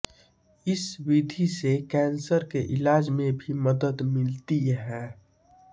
इस विधि से कैंसर के इलाज में भी मदद मिलती है